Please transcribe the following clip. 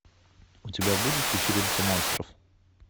у тебя будет вечеринка монстров